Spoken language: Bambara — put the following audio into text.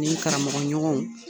N'i karamɔgɔ ɲɔgɔn.